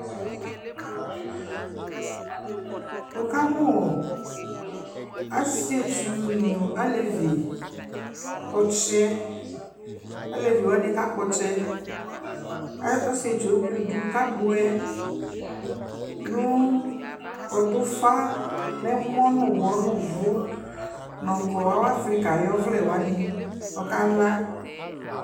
wʋ kamʋ asɛtsʋ nʋ alɛvi, ɔkyɛ , alɛvi wani ka kpɔ ɔkyɛ asɛtsʋɛ ɛwlʋdi kʋ abɔɛ nʋ ɔdʋ ʋƒa nʋ ɛmɔ nʋ ʋwɔ nʋ ʋvʋ nʋ ɔlɔ awa Africa ɔvlɛ wani kʋ ɔkala